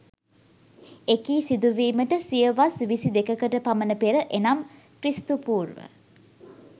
එකී සිදුවීමට සියවස් විසිදෙකකට පමණ පෙර එනම් ක්‍රි.පූ